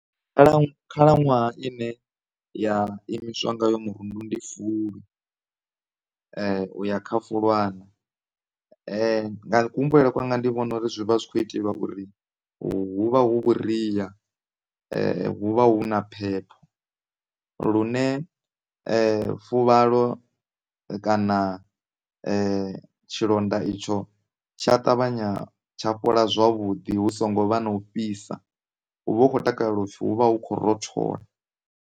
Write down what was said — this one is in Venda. Khala, khalaṅwaha ine ya imiswa ngayo mirundu ndi Fulwi u ya kha fulwana nga ku humbulele kwanga ndi vhona uri zwi vha zwi kho itelwa uri hu vha hu vhuria hu vha hu na phepho lune fuvhalo kana tshilonda itsho tsha ṱavhanya tsha fhola zwavhuḓi hu songo vha na u fhisa, hu vha hu kho takaleliwa upfhi hu vha hu kho rothola.